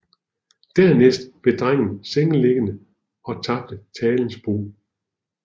Dernæst blev drengen sengeliggende og tabte talens brug